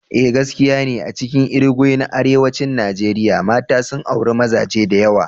Eh gaskiya ne, a cikin Irigwe na arewacin Najeriya, mata sun auri mazaje da yawa.